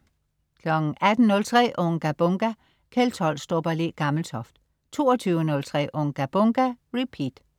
18.03 Unga Bunga! Kjeld Tolstrup og Le Gammeltoft 22.03 Unga Bunga! Repeat